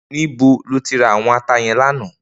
Nibó lóti rá áwòn àtá yèn làná?